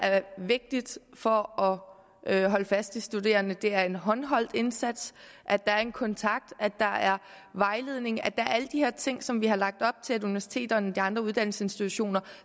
vigtigt for at holde fast i de studerende er en håndholdt indsats at der er en kontakt at der er vejledning at der er alle de her ting som vi har lagt op til at universiteterne og de andre uddannelsesinstitutioner